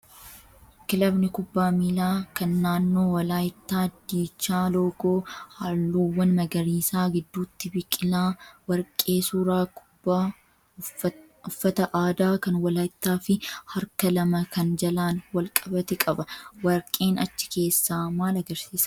Kilabni kubbaa miilaa kan naannoo walaayittaa diichaa loogoo halluuwwan magariisaa, gidduutti biqilaa warqee, suuraa kubbaa, uffata aadaa kan walaayittaa fi harka lama kan jalaan wal qabate qaba. Warqeen achi keessaa maal agarsiisa?